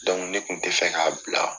ne kun tɛ fɛ k'a bila.